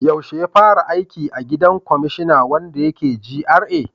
Yaushe ya fara aiki a gidan kwamashina wanda yake GRA?